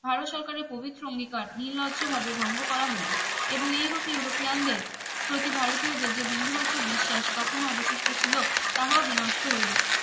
ভারত সরকারের পবিত্র অঙ্গীকার নির্লজ্জ ভাবে ভঙ্গ করা হইলো এবং ইউরোপ ইউরোপিয়ানদের প্রতি ভারতীয়দের যে বিন্দু মাত্র বিশ্বাস তখই অবশিষ্ট ছিলো তাহাও বিনষ্ট হইলো